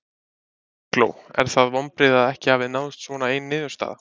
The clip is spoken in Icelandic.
Eygló, eru það vonbrigði að ekki hafi náðst svona ein niðurstaða?